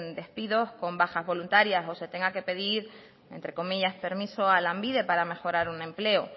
despidos con bajas voluntarias o se tenga que pedir entre comillas permiso a lanbide para mejorar un empleo